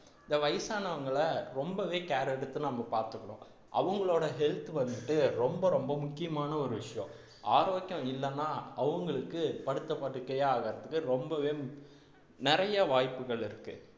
இந்த வயசானவங்களை ரொம்பவே care எடுத்து நம்ம பார்த்துக்கணும் அவங்களோட health வந்துட்டு ரொம்ப ரொம்ப முக்கியமான ஒரு விஷயம் ஆரோக்கியம் இல்லைன்னா அவங்களுக்கு படுத்த படுக்கையே ஆகறதுக்கு ரொம்பவே நிறைய வாய்ப்புகள் இருக்கு